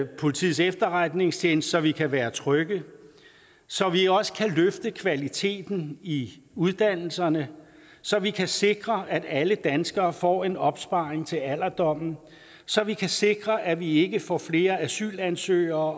og politiets efterretningstjeneste så vi kan være trygge så vi også kan løfte kvaliteten i uddannelserne så vi kan sikre at alle danskere får en opsparing til alderdommen og så vi kan sikre at vi ikke får flere asylansøgere